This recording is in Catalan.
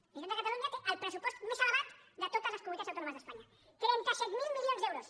la generalitat de catalunya té el pressupost més ele·vat de totes les comunitats autònomes d’espanya trenta set mil milions d’euros